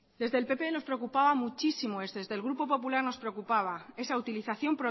desde el pp nos preocupaba muchísimo esa utilización